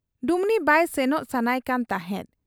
ᱰᱩᱢᱱᱤ ᱵᱟᱭ ᱥᱮᱱᱚᱜ ᱥᱟᱱᱟᱭ ᱠᱟᱱ ᱛᱟᱦᱮᱸᱫ ᱾